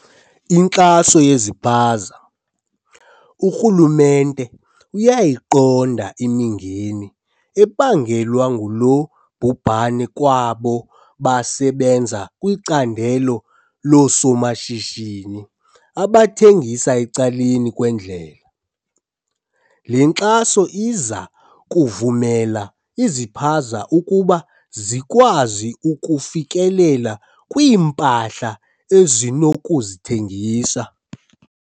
Inkxaso yezipaza. Urhulumente uyayiqonda imingeni ebangelwa ngulo bhubhane kwabo basebenza kwicandelo loosomashishini abathengisa ecaleni kwendlela. Le nkxaso iza kuvumela izipaza ukuba zikwazi ukufikelela kwiimpahla ezinokuzithengisa.